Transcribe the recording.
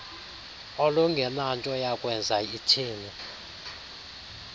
olungenanto yakwenza itheni